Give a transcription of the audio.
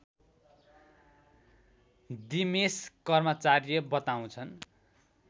दिमेश कर्माचार्य बताउँछन्